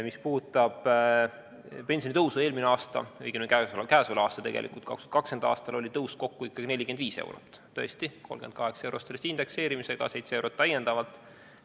Mis puudutab pensionitõusu eelmisel aastal, õigemini käesoleval, 2020. aastal, siis tõus oli kokku ikkagi 45 eurot, ehkki tõesti 38 eurot sellest indekseerimisega, seitse eurot täiendavalt.